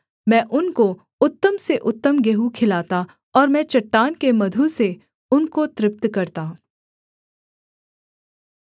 मैं उनको उत्तम से उत्तम गेहूँ खिलाता और मैं चट्टान के मधु से उनको तृप्त करता